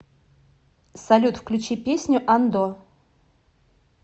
салют включи песню андо